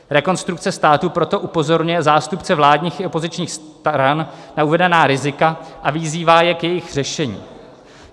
Rekonstrukce státu proto upozorňuje zástupce vládních i opozičních stran na uvedená rizika a vyzývá je k jejich řešení."